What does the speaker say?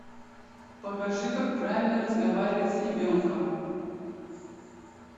покажи как правильно разговаривать с ребенком